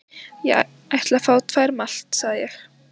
Ég ætla að fá tvær malt, sagði ég.